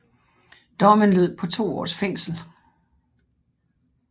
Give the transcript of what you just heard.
Dommen lød på to års fængsel